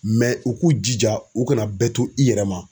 u k'u jija, u kana bɛɛ to i yɛrɛ ma.